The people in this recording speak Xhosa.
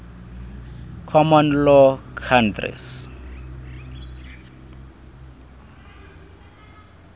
common law countries